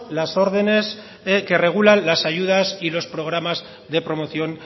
las órdenes que regulan las ayudas y los programas de promoción